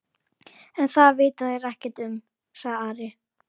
En það vita þeir ekkert um, sagði Ari.